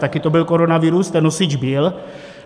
Taky to byl koronavirus, ten nosič byl.